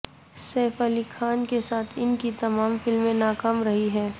safe Ali Khan کے ساتھ ان کی تمام فلمیں ناکام رہی ہیں